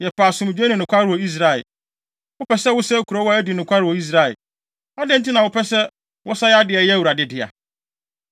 Yɛpɛ asomdwoe ne nokware wɔ Israel. Wopɛ sɛ wosɛe kurow a adi nokware wɔ Israel. Adɛn nti na wopɛ sɛ wosɛe ade a ɛyɛ Awurade dea?”